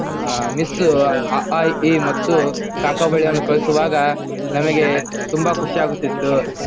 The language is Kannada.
ಆ ಮಿಸ್ ಆ ಆ ಇ ಈ ಮತ್ತು ಕ ಕಾ ಬೆಳೆಯನ್ನು ಕಲಿಸುವಾಗ ನಮಗೆ ತುಂಬಾ ಖುಷಿಯಾಗುತ್ತಿತ್ತು.